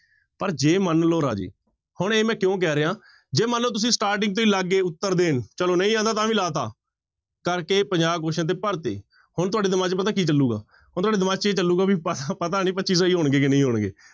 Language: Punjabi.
ਪਰ ਜੇ ਮਨ ਲਓ ਰਾਜੇ, ਹੁਣ ਇਹ ਮੈਂ ਕਿਉਂ ਕਹਿ ਰਿਹਾਂ ਜੇ ਮਨ ਲਓ ਤੁਸੀਂ starting ਤੋਂ ਹੀ ਲੱਗ ਗਏ ਉੱਤਰ ਦੇਣ ਚਲੋ ਨਹੀਂ ਆਉਂਦਾ ਤਾਂ ਵੀ ਲਾ ਦਿੱਤਾ, ਕਰਕੇ ਪੰਜਾਹ question ਤੇ ਭਰ ਦਿੱਤੇ ਹੁਣ ਤੁਹਾਡੇ ਦਿਮਾਗ ਚ ਪਤਾ ਕੀ ਚੱਲੇਗਾ ਹੁਣ ਤੁਹਾਡੇ ਦਿਮਾਗ ਚ ਇਹ ਚੱਲੇਗਾ ਵੀ ਪ ਪਤਾ ਨੀ ਪੱਚੀ ਸਹੀ ਹੋਣਗੇ ਕਿ ਨਹੀਂ ਹੋਣਗੇ।